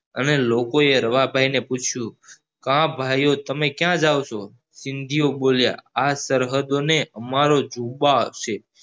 અને લોકો એ રવા ભાઈને પૂછ્યું કા ભાઈયો તમે ક્યાં જાવ ચો સિંધી ઓ બોલ્યા આ સરહદો ને અમારો છે